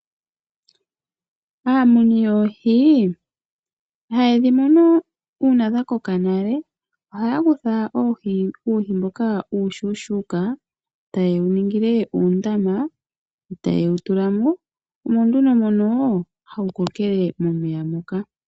Aamuni yoohi, ihayedhi munu dhaninga oonene , ohaya kutha uuhi mboka uushuushuuka ,taye wuningile uundama, etaye wutulamo, omo nduno hawu kokele mo .